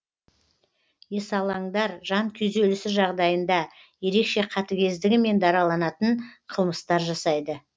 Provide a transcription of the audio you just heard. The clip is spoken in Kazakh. есалаңдар жан күйзелісі жағдайында ерекше қатігездігімен дараланатын қылмыстар жасайды